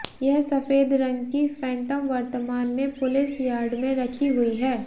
यह सफेद रंग की फैंटम वर्तमान में पुलिस यार्ड में रखी हुई है